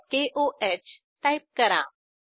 aqकोह type करा